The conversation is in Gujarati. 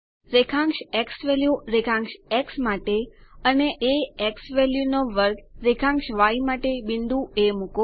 રેખાંશ ઝવેલ્યુ રેખાંશ એક્સ માટે અને xValue2 રેખાંશ ય માટે બિંદુ એ મુકો